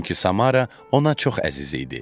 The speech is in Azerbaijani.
Çünki Samara ona çox əziz idi.